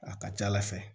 A ka ca ala fɛ